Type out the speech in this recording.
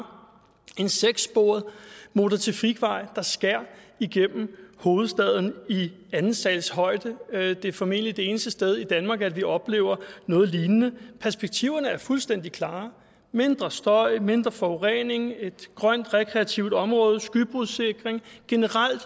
en sekssporet motortrafikvej der skærer igennem hovedstaden i anden sals højde det er formentlig det eneste sted i danmark vi oplever noget lignende perspektiverne er fuldstændig klare mindre støj mindre forurening et grønt rekreativt område skybrudssikring generelt